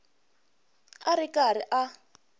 a a ri karhi a